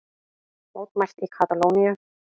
Mótmælt í Katalóníu